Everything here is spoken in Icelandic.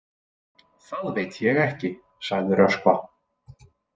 Það veit ég ekki, sagði Röskva.